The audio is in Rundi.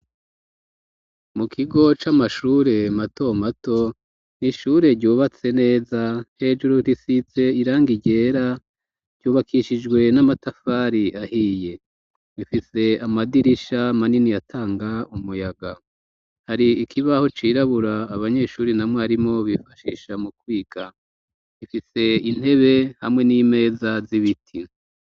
Mu kigo c'amashure matomato n'ishure ryubatse neza hejuru risize irangi ryera ryubakishijwe n'amatafari ahiye. Bifise. amadirisha manini atanga umuyaga hari ikibaho cirabura abanyeshuri na mwarimo bifashisha mu kwiga ifise intebe hamwe n'imeza z'ibiti.